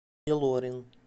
илорин